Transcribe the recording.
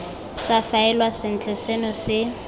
sa faelwa sentle seno se